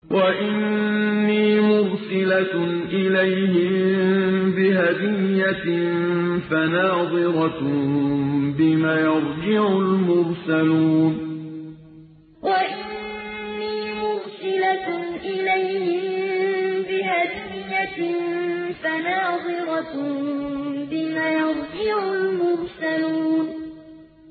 وَإِنِّي مُرْسِلَةٌ إِلَيْهِم بِهَدِيَّةٍ فَنَاظِرَةٌ بِمَ يَرْجِعُ الْمُرْسَلُونَ وَإِنِّي مُرْسِلَةٌ إِلَيْهِم بِهَدِيَّةٍ فَنَاظِرَةٌ بِمَ يَرْجِعُ الْمُرْسَلُونَ